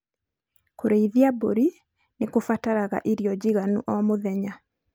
Kũrĩithia mbũri nĩ kũbataraga irio njiganu oo mũthenya.